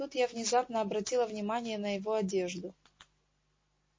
тут я внезапно обратила внимание на его одежду